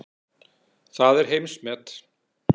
Það er heimsmet.